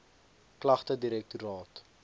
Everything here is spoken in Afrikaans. klagtedirektoraat